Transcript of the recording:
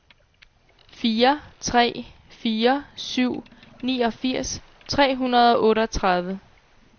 fire tre fire syv niogfirs tre hundrede og otteogtredive